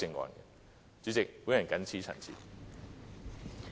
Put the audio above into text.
代理主席，我謹此陳辭。